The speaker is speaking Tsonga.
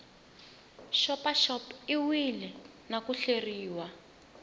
xopaxop iwile na ku hleriwa